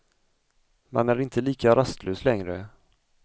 Man är inte lika rastlös längre.